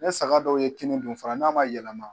Ne saga dɔw ye kini dun fara n'a man yɛlɛma